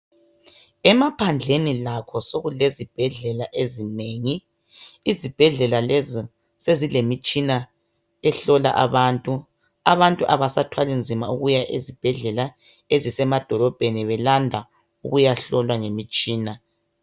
Emaphandleni lakho sekulezibhedlela ezinengi. Izibhedlela lezi sezilemitshina ehlola abantu. Abantu abasathwali nzima ukuya ezibhedlela ezisemadolobheni belanda ukuyahlolwa ngemitshina.